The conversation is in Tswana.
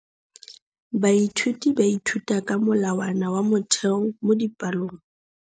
Baithuti ba ithuta ka molawana wa motheo mo dipalong.